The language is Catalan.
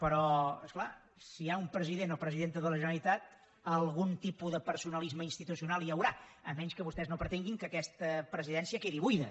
però és clar si hi ha un president o presidenta de la generalitat algun tipus de personalisme institucional hi haurà a menys que vostès no pretenguin que aquesta presidència quedi buida